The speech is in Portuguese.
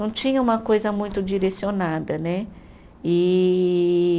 Não tinha uma coisa muito direcionada, né? E